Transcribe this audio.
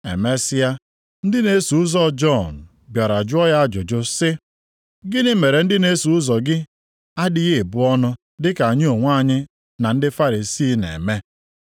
Emesịa, ndị na-eso ụzọ Jọn bịara jụọ ya ajụjụ sị, “Gịnị mere ndị na-eso ụzọ gị adịghị ebu ọnụ dị ka anyị onwe anyị na ndị Farisii na-eme?”